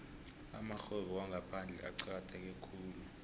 amarhwebo wangaphandle acakatheke khulu